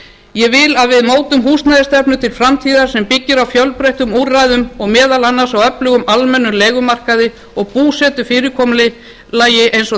ég vil að við mótum húsnæðisstefnu til framtíðar sem byggir á fjölbreyttum úrræðum og meðal annars á öflugum almennum leigumarkaði og búsetufyrirkomulagi eins og